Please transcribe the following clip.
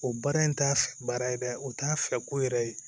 O baara in t'a baara ye dɛ o t'a fɛ ko yɛrɛ ye